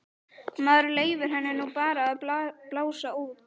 Maður leyfir henni nú bara að blása út.